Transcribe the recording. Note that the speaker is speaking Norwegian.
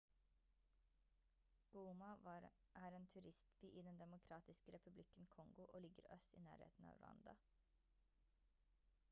goma er en turistby i den demokratiske republikken kongo og ligger i øst i nærheten av rwanda